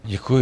Děkuji.